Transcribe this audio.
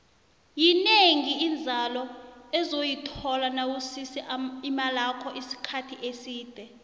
yinengi inzalo ozoyithola nawusise imalakho isikhathi eside